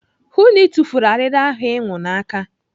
Hụụ na Ị tufuru arịrị ahụ ịnwụ n'aka.